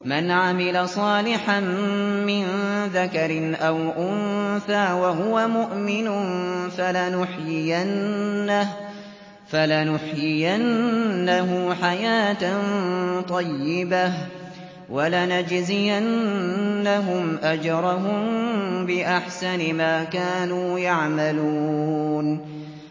مَنْ عَمِلَ صَالِحًا مِّن ذَكَرٍ أَوْ أُنثَىٰ وَهُوَ مُؤْمِنٌ فَلَنُحْيِيَنَّهُ حَيَاةً طَيِّبَةً ۖ وَلَنَجْزِيَنَّهُمْ أَجْرَهُم بِأَحْسَنِ مَا كَانُوا يَعْمَلُونَ